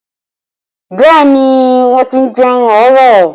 Bẹẹ ni, wọ́n ti jẹun àárọ̀